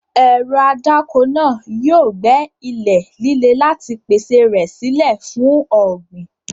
Ẹ̀rọ adáko náà yóò gbẹ́ ilẹ̀ líle láti pèsè rẹ̀ sílẹ̀ fún ọ̀gbìn.